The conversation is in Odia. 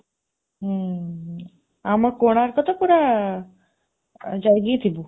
ହଁ, ଆମ କୋଣାର୍କ ତ ପୁରା, ଜଗି ଥିବୁ।